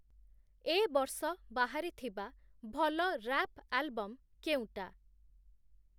ଏ ବର୍ଷ ବାହାରିଥିବା ଭଲ ରାପ୍ ଆଲବମ୍ କେଉଁଟା?